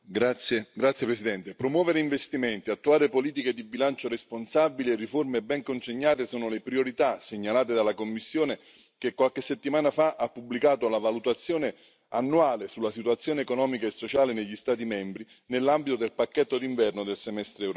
Signora Presidente, onorevoli colleghi, promuovere investimenti, attuare politiche di bilancio responsabile e riforme ben congegnate sono le priorità segnalate dalla Commissione, che qualche settimana fa ha pubblicato la valutazione annuale sulla situazione economica e sociale negli Stati membri nell'ambito del pacchetto d'inverno del semestre europeo.